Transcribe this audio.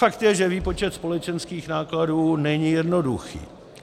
Fakt je, že výpočet společenských nákladů není jednoduchý.